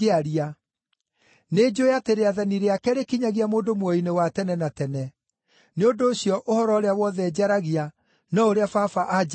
Nĩnjũũĩ atĩ rĩathani rĩake rĩkinyagia mũndũ muoyo-inĩ wa tene na tene. Nĩ ũndũ ũcio ũhoro ũrĩa wothe njaragia no ũrĩa Baba anjĩĩrĩte njarie.”